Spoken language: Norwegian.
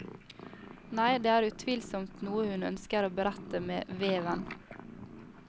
Nei, det er utvilsomt noe hun ønsker å berette med veven.